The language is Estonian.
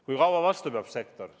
Kui kaua sektor vastu peab?